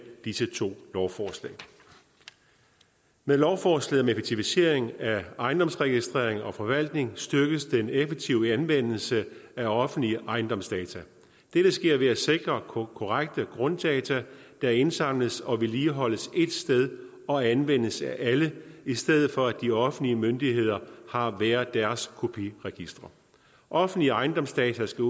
disse to lovforslag med lovforslaget om effektivisering af ejendomsregistrering og forvaltning styrkes den effektive anvendelse af offentlige ejendomsdata dette sker ved at sikre korrekte grunddata der indsamles og vedligeholdes ét sted og anvendes af alle i stedet for at de offentlige myndigheder har hver deres kopiregistre offentlige ejendomsdata skal